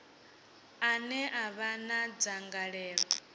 ane a vha na dzangalelo